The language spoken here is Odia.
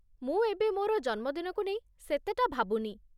ମୁଁ ଏବେ ମୋର ଜନ୍ମଦିନକୁ ନେଇ ସେତେଟା ଭାବୁନି।